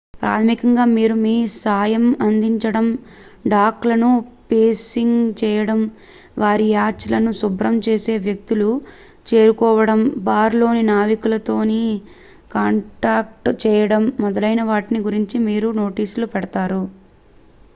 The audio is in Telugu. ప్రాథమికంగా మీరు మీ సాయం అందించడం డాక్ లను పేసింగ్ చేయడం వారి యాచ్ లను శుభ్రం చేసే వ్యక్తులను చేరుకోవడం బార్ లో నావికులతో కాంటాక్ట్ చేయడం మొదలైన వాటిని గురించి మీరు నోటీస్లు పెడ్తారు